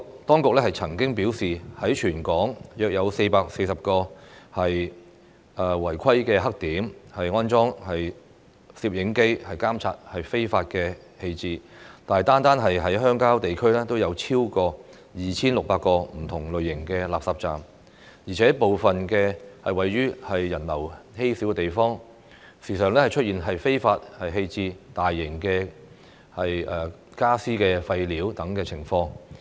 當局曾經表示，已在全港約440個"違規黑點"安裝攝影機監察非法棄置，但單是鄉郊地區已有超過 2,600 個不同類型的垃圾站，而且部分位於人流稀少的地方，時常出現非法棄置大型傢俬廢料等情況。